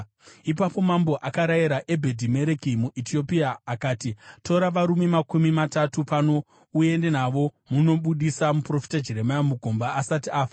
Ipapo mambo akarayira Ebhedhi-Mereki muEtiopia, akati, “Tora varume makumi matatu pano uende navo munobudisa muprofita Jeremia mugomba asati afa.”